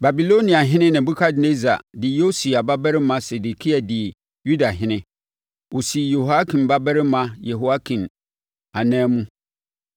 Babiloniahene Nebukadnessar de Yosia babarima Sedekia dii Yudahene; ɔsii Yehoiakim babarima Yehoiakin anan mu.